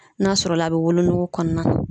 N'a sɔrɔla a be wolonugu kɔɔna na